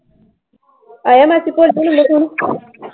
ਆਇਆ ਮਾਸੀ ਭੋਲੀ ਦਾ ਫੋਨ?